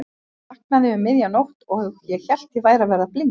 Ég vaknaði um miðja nótt og ég hélt að ég væri að verða blindur.